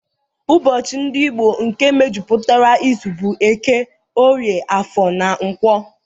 Ụbọchị ndị Igbo nke mejupụtara izu bụ Eke, Orie, Afọ na Nkwọ